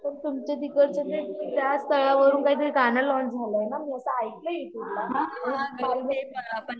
पण तुमचं तिकडचं ते त्या स्थळावरून काहीतरी गाणं लॉन्च झालंय ना असं ऐकलंय मी कुठलं